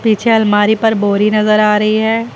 पीछे अलमारी पर बोरी नजर आ रही है।